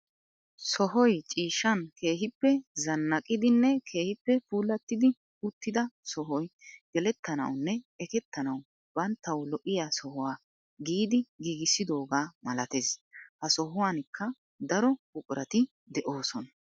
Sohoy ciishshan keehippe zannaqidinne keehippe puulattidi uttida sohoy gelettanawu nne ekettenawu banttawu lo"iyaa sohuwaa giidi giigisidoogaa malattees. ha sohuwankka daro buqurati de"oosona.